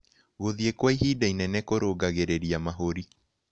Gũthĩe kwa ĩhĩda ĩnene kũrũngagĩrĩrĩa mahũrĩ